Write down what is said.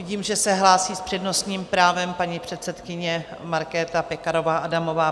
Vidím, že se hlásí s přednostním právem paní předsedkyně Markéta Pekarová Adamová.